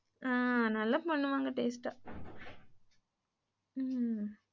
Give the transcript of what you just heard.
ஹ்ம்ம் நல்லா பண்ணுவாங்க taste ஆ